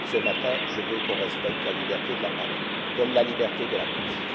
Ce matin, je veux qu'on respecte la liberté de parole comme la liberté de la presse!